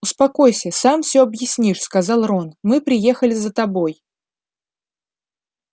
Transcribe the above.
успокойся сам всё объяснишь сказал рон мы приехали за тобой